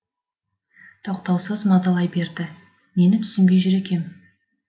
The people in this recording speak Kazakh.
тоқтаусыз мазалай берді нені түсінбей жүр екем